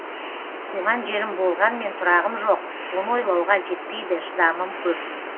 туған жерім болғанмен тұрағым жоқ оны ойлауға жетпейді шыдамым көп